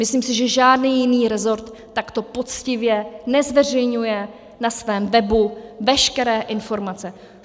Myslím si, že žádný jiný rezort takto poctivě nezveřejňuje na svém webu veškeré informace.